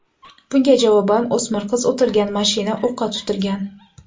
Bunga javoban, o‘smir qiz o‘tirgan mashina o‘qqa tutilgan.